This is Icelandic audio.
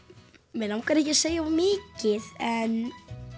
mig langar ekki að segja of mikið en